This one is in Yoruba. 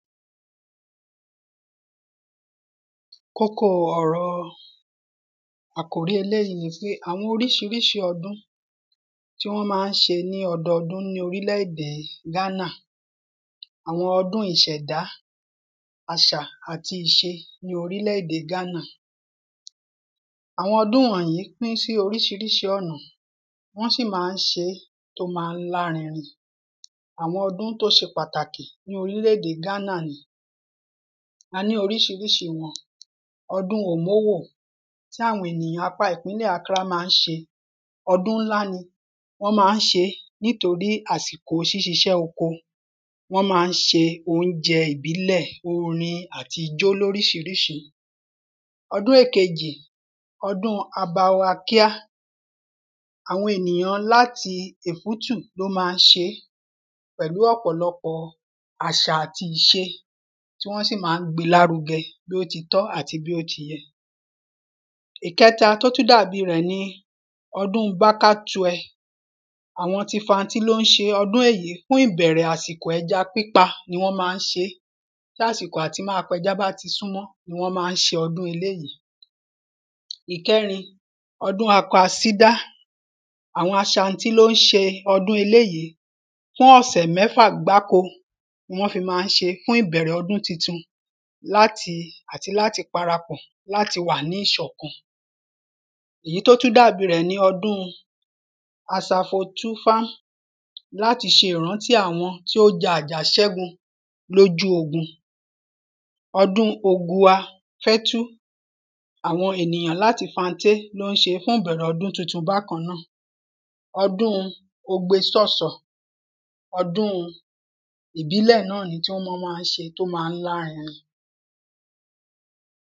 kókóo ọ̀rọ̀ àkòrí eléyí ni pé àwọn oríṣiríṣi ọdún tí wọ́n má ń ṣe ní ọdọdún ní orílẹ̀ èdè Ghana àwọn ọdún ìṣẹdá àṣà àti ìṣe ní orílẹ̀ èdè Ghana àwọn ọdún wọ̀nyí pín ṣí oríṣiríṣi ọnà wọ́n sì má ń ṣe tó má ń lárinrin àwọn ọdún tó ṣe pàtàkì ní orílẹ̀ èdè Ghana ni a ní oríṣiríṣi wọn ọdún Òmómò tí awọn ènìyàn apá ìpínlẹ̀ Accra má ń ṣe ọdún ńlá ni ọdún ńlá ni nitorí àsìkò ṣiṣẹ́ oko wọn ma ń ṣe óunjẹ ìbílẹ̀ orin àti ijó loríṣiríṣi ọdún èkejì ọdún-un Abawakíá awọn ènìyán láti Ìfútù ló má ń ṣe pẹ̀lú ọ̀pọ̀lọpọ̀ àṣà àti ìṣe tí wọ́n sì má ń gbe lárugẹ bí ó ti tọ́ àti bí ó ti yẹ ìkẹta tó tú dàbi rẹ̀ ni ọdún-un Bákátuẹ àwọn ti Ifantí ló ń ṣe ọdún èyí fún ìbẹ̀rẹ̀ àsìkò ẹja pípa ni wọ́n má ń ṣe tásìkò àti máa pẹja bá ti súnmọ́ wọn má ń ṣe ọdún eléyí ìkẹ́rin ọdún Akwasídá àwọn Ashantí ló ń ṣe ọdún eléyí fún ọ̀sẹ̀ mẹ́fà gbáko wọn fi má ń ṣe fún ìbẹ̀rẹ̀ ọdún titun àti láti parapọ̀ láti wà ní ìṣọkan ìyí tó tu dàbi rẹ̀ ni ọdún-un Asafotúfám láti ṣe ìrántí àwọn tó ja àjàṣẹ́gun lójú ogun ọdún-un Ogua Fẹ́tu àwọn ènìyàn láti Fanté ló ń ṣe fún ìbẹ̀rẹ̀ ọdún titun bákan náà ọdún-un Ogbesọ́sọ́ ọdún-un ìbílẹ̀ náà ni tọ́ mọ má ń ṣe tó ma lárinrin